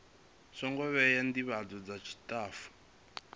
songo vhewa ndivhadzo dza tshitafu